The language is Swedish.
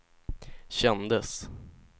kändes